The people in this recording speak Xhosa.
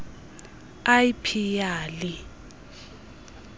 l p yali